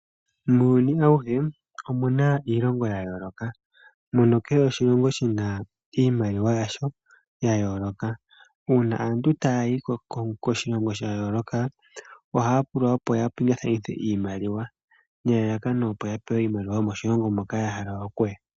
Muuyuni awuhe omuna iilonga ya yooloka nakehe oshilongo oshina iimaliwa yasho ya yooloka. Uuna aantu taya yi koshilongo sha yooloka, ohaya pulwa opo ya pingakanithe iimaliwa nelalakano, opo ya pewe iimaliwa yomoshilongo moka ya hala oku ya.